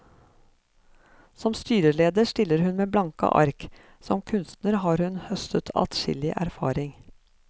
Som styreleder stiller hun med blanke ark, som kunstner har hun høstet adskillig erfaring.